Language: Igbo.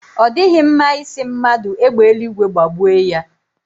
Ọ dịghị mma ị sị mmadụ égbè eluigwe gbagbue ya.